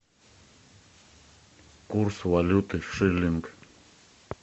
курс валюты шиллинг